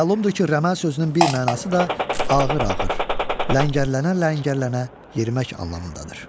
Məlumdur ki, rəməl sözünün bir mənası da ağır-ağır, ləngər-ləngər yerimək anlamındadır.